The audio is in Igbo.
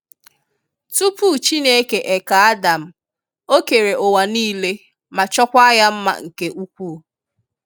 Tupu Chineke e kee Adam, O kere uwa nile ma chọkwa ya nma nke ukwu